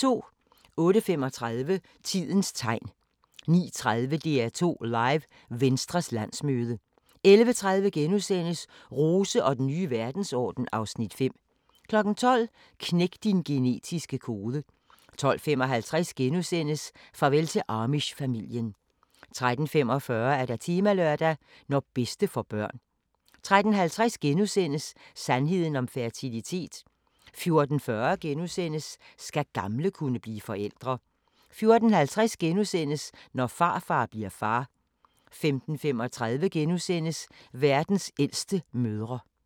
08:35: Tidens Tegn 09:30: DR2 Live: Venstres landsmøde 11:30: Rose og den nye verdensorden (Afs. 5)* 12:00: Knæk din genetiske kode 12:55: Farvel til Amish-familien * 13:45: Temalørdag: Når bedste får børn 13:50: Sandheden om fertilitet * 14:40: Skal gamle kunne blive forældre? * 14:50: Når farfar bli'r far * 15:35: Verdens ældste mødre *